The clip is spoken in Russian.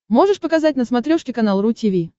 можешь показать на смотрешке канал ру ти ви